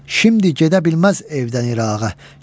Şimdi gedə bilməz evdən İrağa.